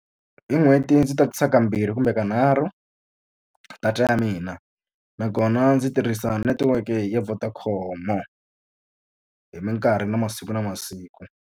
Hi n'hweti ndzi tatisa ka mbirhi kumbe ka nharhu data ya mina, nakona ndzi tirhisa netiweke ya Vodacom-o hi minkarhi na masiku na masiku.